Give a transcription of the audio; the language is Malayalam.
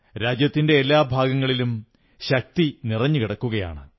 രാജ്യത്തിന്റെ എല്ലാ ഭാഗങ്ങളിലും ശക്തി കുന്നൂകൂടി കിടക്കുകയാണ്